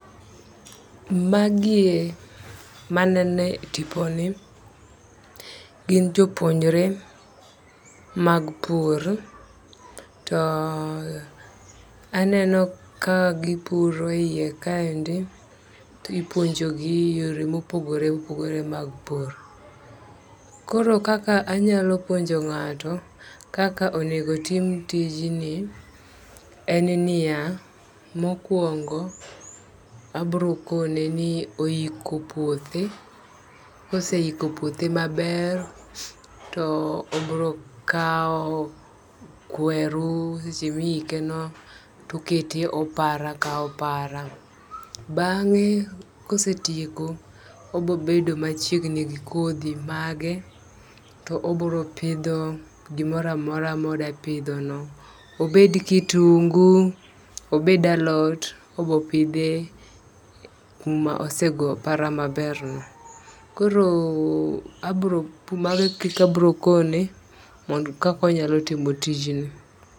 Magie manene tipo ni gin jopuonjre mag pur to aneno ka gipuro yie kaendi tipuonjogi e yore mopogore opogore mag pur. Koro kaka anyalo puonjo ng'ato kaka onego otim tijni, en niya mokwongo abro kone ni oiko puothe ,koseiko puothe maber to obro kawo kweru seche miyike no tokete opara ka opara. Bang'e kosetieko obo bedo machiegni gi kodhi mage to obro pidho gimora mora moda pidho no obed kitungu, obed alot, obo pidhe kuma osego opara maber no. Koro abro mane kaka abro kone kako nya timo tijni.